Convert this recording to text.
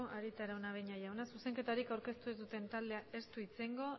arieta araunabeña jauna zuzenketarik aurkeztu ez duen taldeak ez du hitz egingo